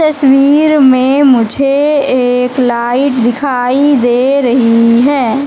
तस्वीर में मुझे एक लाइट दिखाई दे रही है।